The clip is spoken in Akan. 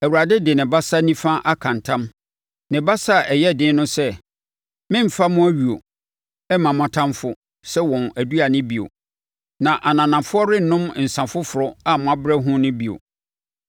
Awurade de ne basa nifa aka ntam, ne basa a ɛyɛ den no sɛ, “Meremfa mo ayuo mma mo atamfoɔ sɛ wɔn aduane bio, na ananafoɔ rennom nsã foforɔ a moabrɛ ho no bio;